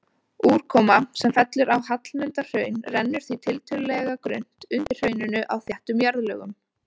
Úrkoma sem fellur á Hallmundarhraun rennur því tiltölulega grunnt undir hrauninu á þéttum jarðlögum.